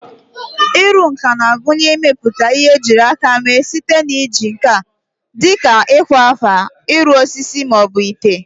Ịrụ nka na-agụnye ịmepụta ihe ejiri aka mee site na iji nkà dị ka ịkwa akwa, ịrụ osisi, ma ọ bụ ite.